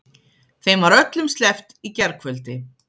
Þeim var öllum sleppt í gærkvöldi